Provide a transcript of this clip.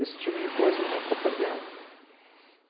Esse tipo de coisa a gente está perdendo.